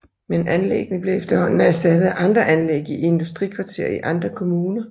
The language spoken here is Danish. Men anlæggene blev efterhånden erstattet af andre anlæg i industrikvarterer i andre kommuner